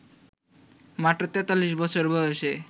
মাত্র ৪৩ বছর বয়সে